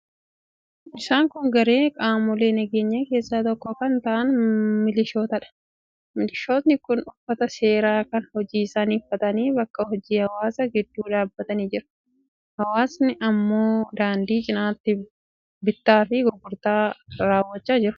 Isaan kun garee qaamolee nageenyaa keessaa tokko kan ta'an milishootadha. Milishootni kun uffata seeraa kan hojii isaanii uffatanii bakka hojii hawaasaa gidduu dhaabatanii jiru. Hawaasni immoo daandii cinatti bittaafi gurgurtaa raawwachaa jiru.